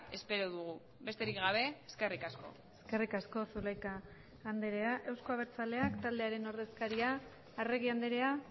espero dugu besterik gabe eskerrik asko eskerrik asko zulaika andrea euzko abertzaleak taldearen ordezkaria arregi andrea